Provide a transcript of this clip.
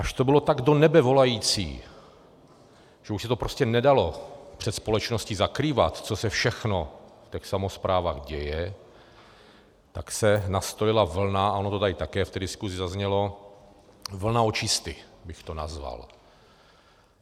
Až to bylo tak do nebe volající, že už se to prostě nedalo před společností zakrývat, co se všechno v těch samosprávách děje, tak se nastolila vlna - a ono to tady také v té diskusi zaznělo - vlna očisty bych to nazval.